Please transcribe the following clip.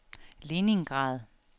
Leningrad